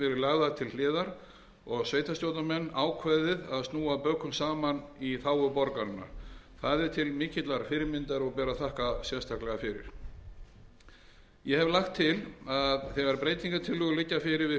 lagðar til hliðar og sveitarstjórnarmenn ákveðið að snúa bökum saman í þágu borgaranna það er til mikillar fyrirmyndar og ber að þakka sérstaklega fyrir ég hef lagt til að þegar breytingartillögur við fjárlagafrumvarpið liggja fyrir og